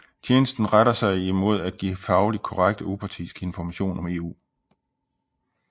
Tjenesten retter sig mod at give faglig korrekt og upartisk information om EU